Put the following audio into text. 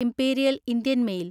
imperial Indian mail